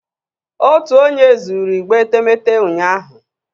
Otu onye zuru igbe etemeete ụnyahụ